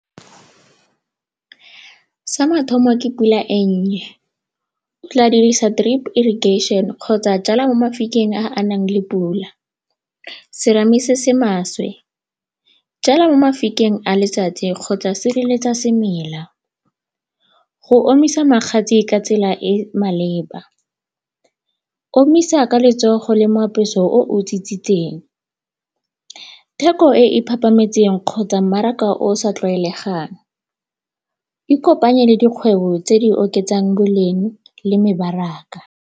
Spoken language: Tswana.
Sa mathomo ke pula e nnye 'tla dirisa drip irrigation kgotsa jala mo mafikeng a a nang le pula. Serame se se maswe, jala mo mafikeng a letsatsi kgotsa sireletsa semela. Go omisa magatse ka tsela e maleba, omisa ka letsogo le moapeso o o . Theko e e phaphametseng kgotsa mmaraka o sa tlwaelegang, ikopanye le dikgwebo tse di oketsang boleng le mebaraka.